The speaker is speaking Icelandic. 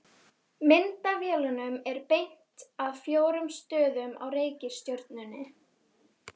Myndavélunum er beint að fjórum stöðum á reikistjörnunni.